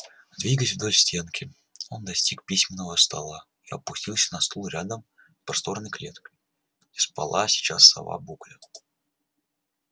двигаясь вдоль стенки он достиг письменного стола и опустился на стул рядом просторной клеткой где спала сейчас сова букля